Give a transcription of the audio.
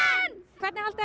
hvernig haldið